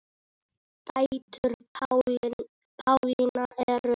Dætur Pálínu eru þrjár.